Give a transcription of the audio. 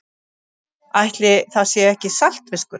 Ætli það sé ekki saltfiskur.